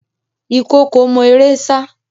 Ìkookò mọ eré sá.